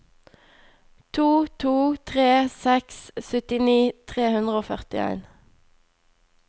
to to tre seks syttini tre hundre og førtien